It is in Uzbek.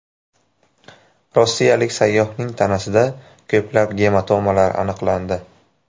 Rossiyalik sayyohning tanasida ko‘plab gematomalar aniqlandi.